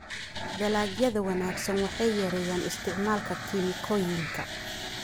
Dalagyada wanaagsan waxay yareeyaan isticmaalka kiimikooyinka.